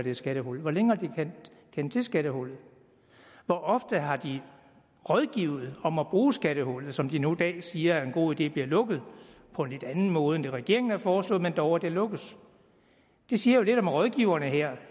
et skattehul hvor længe har de kendt til skattehullet hvor ofte har de rådgivet om at bruge skattehullet som de nu i dag siger er en god idé bliver lukket på en lidt anden måde end den regeringen har foreslået men dog at det lukkes det siger jo lidt om rådgiverne her